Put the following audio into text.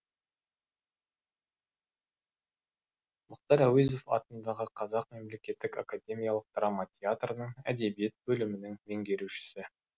мұхтар әуезов атындағы қазақ мемлекеттік академиялық драма театрының әдебиет бөлімінің меңгерушісі